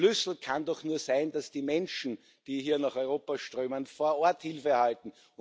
Schlüssel kann doch nur sein, dass die Menschen, die hier nach Europa strömen, vor Ort Hilfe erhalten.